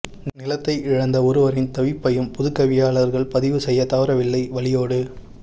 நிலைத்தை இழந்த ஒருவரின் தவிப்பையம் புதுகவியாளர்கள் பதிவு செய்ய தவறவில்லை வலியோடு